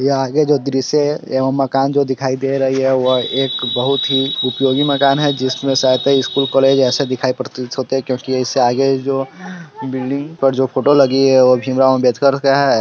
यहाँ आगे जो दृश्य है यहाँ मकान जो दिखाई दे रही है बह एक बहुत ही उपयोगी मकान है जिसमें शायद स्कूल कॉलेज एसे प्रतीत होते कि उससे आगे जो बिल्ल्डिंग जो फोटो लगी है भीमराव अमबेडकर का है।